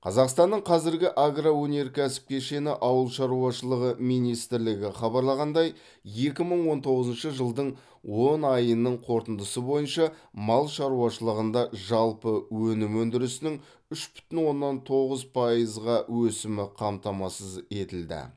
қазақстанның қазіргі агроөнеркәсіп кешені ауыл шаруашылығы министрлігі хабарлағандай екі мың он тоғызыншы жылдың оныншы айының қорытындысы бойынша мал шаруашылығында жалпы өнім өндірісінің үш бүтін оннан тоғыз пайызға өсімі қамтамасыз етілді